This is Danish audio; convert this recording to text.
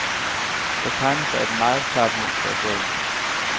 Der tegner sig et meget klart mønster i sagen.